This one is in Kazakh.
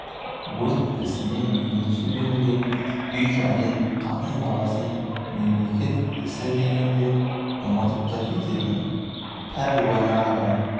өз ісіне мейлінше берілген үй-жайын қатын-баласын мемлекет ісі дегенде ұмытып та кететін пәруана адам